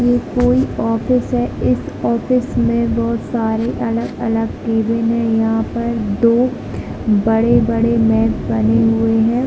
ये कोई ऑफिस है एक ऑफिस में बहुत सारे अलग - अलग कैबिन है यहाँ पर दो बड़े - बड़े मैप बने हुए है